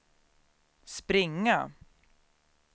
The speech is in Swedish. springa